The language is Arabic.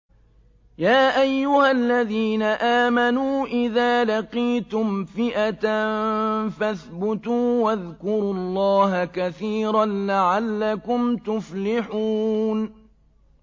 يَا أَيُّهَا الَّذِينَ آمَنُوا إِذَا لَقِيتُمْ فِئَةً فَاثْبُتُوا وَاذْكُرُوا اللَّهَ كَثِيرًا لَّعَلَّكُمْ تُفْلِحُونَ